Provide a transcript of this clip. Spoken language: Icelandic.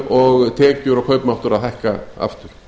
og tekjur og kaupmáttur að hækka aftur